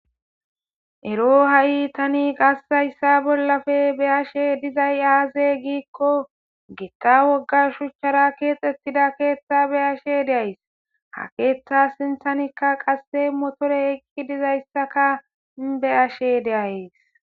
ero ha7i tani qas hayssa bollappe beyashe dizay aaze giikko gitta wogga shuchchara keexxettida keeththa be'ashe de'ays ha keeththa sinthanikka qasse motore ekki dizayssaka be'ashe de'ayes